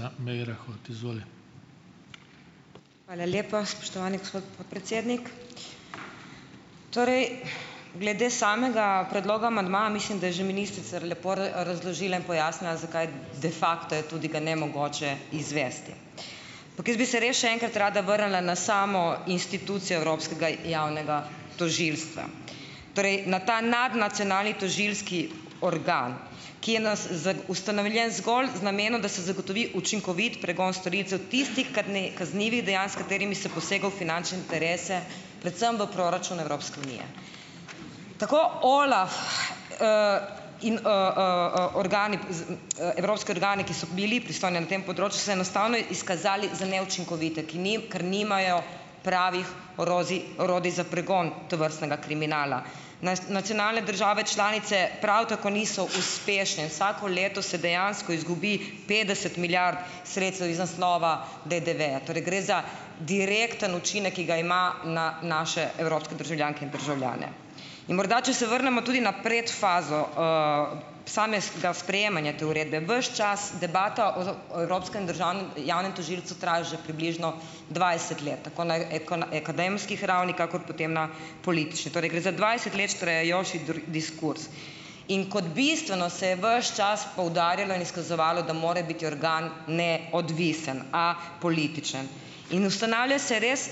Hvala lepa, spoštovani gospod podpredsednik! Torej glede samega predloga amandmaja mislim, da je že ministrica lepo razložila in pojasnila, zakaj de facto je tudi ga nemogoče izvesti, ampak jaz bi se res še enkrat rada vrnila na samo institucijo evropskega javnega tožilstva. Torej, na ta nadnacionalni tožilski organ, ki je ustanovljen zgolj z namenom, da se zagotovi učinkovit pregon storilcev tistih kaznivih dejanj, s katerimi se posega v finančne interese predvsem v proračun Evropske unije. Tako OLAF, in, organi evropski organi, ki so bili pristojni na tem področju so se enostavno izkazali za neučinkovite, ki ker nimajo pravih orožij, orodij za pregon tovrstnega kriminala. nacionalne države članice prav tako niso uspešne. Vsako leto se dejansko izgubi petdeset milijard sredstev iz naslova DDV-ja, torej gre za direkten učinek, ki ga ima na naše evropske državljanke in državljane. Morda, če se vrnemo tudi na predfazo, samega sprejemanja te uredbe, ves čas debata o evropskem državnem javnem tožilstvu traja že približno dvajset let, tako na na akademski ravni kakor potem na politični, torej gre za dvajset let trajajoči diskurz. In kot bistveno se je ves čas poudarjalo in izkazovalo, da more biti organ neodvisen, a političen. In ustanavlja se res,